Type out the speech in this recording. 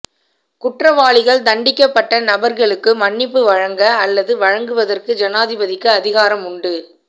குற்றவாளிகள் தண்டிக்கப்பட்ட நபர்களுக்கு மன்னிப்பு வழங்க அல்லது வழங்குவதற்கு ஜனாதிபதிக்கு அதிகாரம் உண்டு